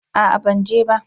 A'a ban je ba